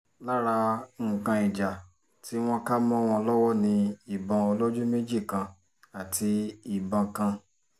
lára nǹkan ìjà tí wọ́n kà mọ́ wọn lọ́wọ́ ni ìbọn olójú méjì kan àti ìbọn kan